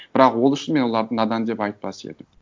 бірақ ол үшін мен оларды надан деп айтпас едім